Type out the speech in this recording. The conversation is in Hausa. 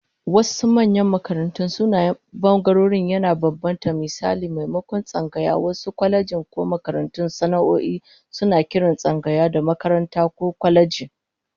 A wasu manyan makarantu, sunayen bangarorin yana bambanta, misali maimakon tsangaya, wasu kwalejojin ko makarantun sana'o'i suna kiran tsangaya da "makaranta" ko "kwaleji"